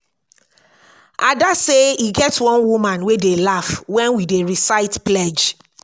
ada say e get one woman wey dey laugh wen we dey recite pledge